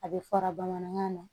A bɛ fara bamanankan na